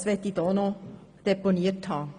Das möchte ich gesagt haben.